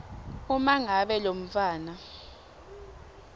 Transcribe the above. uma ngabe lomntfwana